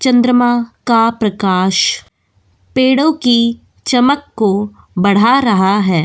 चंद्रमा का प्रकाश पेड़ों की चमक को बढ़ा रहा है।